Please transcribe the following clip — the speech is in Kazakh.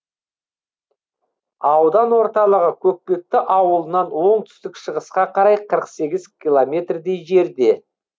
аудан орталығы көкпекті ауылынан оңтүстік шығысқа қарай қырық сегіз километрдей жерде